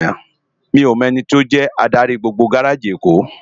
Mi ó mò èniti ó jè ádári gbógbó gáráji Ékó